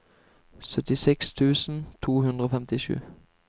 syttiseks tusen to hundre og femtisju